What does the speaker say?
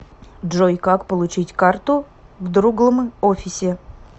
джой как получить карту в друглм офисе